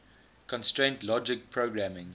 constraint logic programming